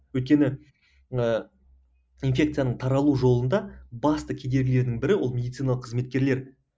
өйткені ыыы инфекцияның таралу жолында басты кедергілердің бірі ол медициналық қызметкерлер